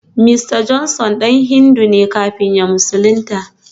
Mista Johnson dan Hindu ne kafin ya musulunta